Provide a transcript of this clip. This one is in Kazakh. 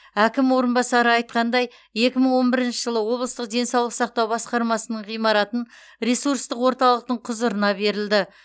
әкім орынбасары айтқандай екі мың он бірінші жылы облыстық денсаулық сақтау басқармасының ғимаратын ресурстық орталықтың құзырына берілді